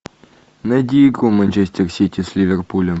найди игру манчестер сити с ливерпулем